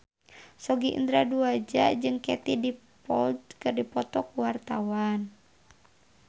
Sogi Indra Duaja jeung Katie Dippold keur dipoto ku wartawan